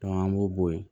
an b'o bo yen